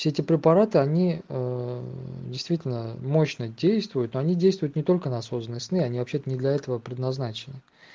все эти препараты они действительно мощно действуют но они действуют не только на осознанные сны они вообще-то не для этого предназначены